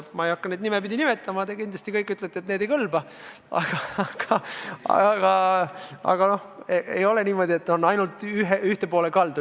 Ma ei hakka neid nimepidi nimetama, te kindlasti ütlete, et need ei kõlba, aga ei ole niimoodi, et arvamused on ainult ühele poole kaldu.